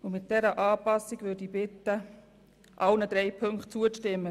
Ich bitte Sie, der Planungserklärung in allen drei Ziffern mit dieser Anpassung zuzustimmen.